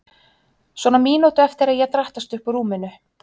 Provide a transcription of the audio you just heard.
Svona mínútu eftir að ég drattast upp úr rúminu.